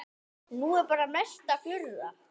Nei bara mesta furða.